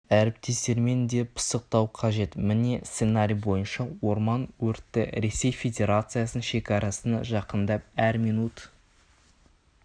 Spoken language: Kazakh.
әріптестермен де пысықтау қажет міне сценарий бойынша орман өрті ресей федерациясының шекарасына жақындап әр минут